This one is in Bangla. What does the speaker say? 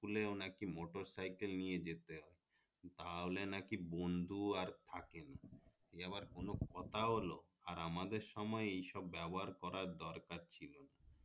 school এ নাকি মোটরসাইকেল নিয়ে যেতে হবে তাহলে নাকি বন্ধু আর থাকে না এ আবার কোনো কথা হইলো আর আমাদের সময় এই সব ব্যবহার করা দরকার ছিল